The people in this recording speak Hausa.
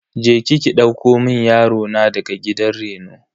Je ki ki ɗauko mun yaro na daga gidan reno.